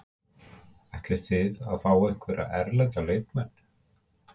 Ætliði að fá einhverja erlenda leikmenn?